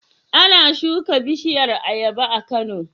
Ana shuka bishiyar ayaba a Kano?